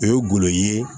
O ye golo ye